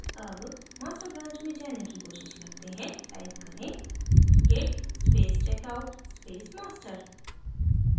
अब master branch में जाने की कोशिश करते हैं टाइप करें git space checkout space master